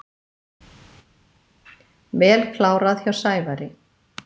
Vel klárað hjá Sævari.